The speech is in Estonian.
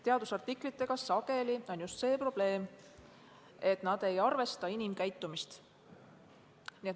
Teadusartiklite puhul on sageli just see probleem, et need ei arvesta inimkäitumist.